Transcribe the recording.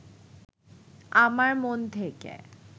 আমার মন থেকে